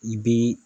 I bɛ